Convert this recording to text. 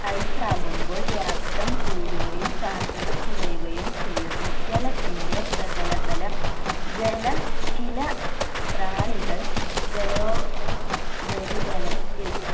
ice ആകുമ്പോൾ വ്യാപ്തം കൂടുകയും സാന്ദ്രത കുറയുകയും ചെയ്യുന്നു ജലത്തിന്റെ പ്രതലബലം ജല ചില പ്രാണികൾ ജലോ ഉപരിതലത്തിൽ